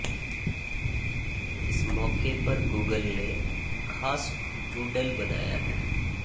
इस मौके पर गूगल ने खास डूडल बनाया है